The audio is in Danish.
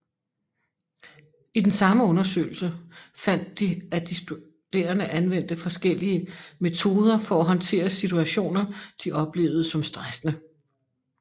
I den samme undersøgelse fandt de at de studerende anvendte forskellige metoder for at håndtere situationer de oplevede som stressende